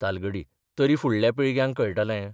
तालगडी तरी 'फुडल्या पिळग्यांक कळटलें.